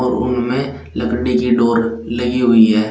और रूम में लकड़ी की डोर लगी हुई है।